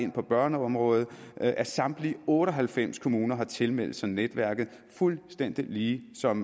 ind på børneområdet at samtlige otte og halvfems kommuner har tilmeldt sig netværket fuldstændig ligesom